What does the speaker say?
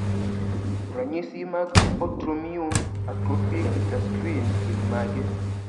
Ranyisi mag autoimmune atrophic gastritis gin mage?